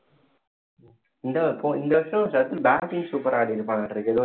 இந்த இந்த வருஷம் சச்சின் batting super அ ஆடியிருப்பான்னாட்ட இருக்கு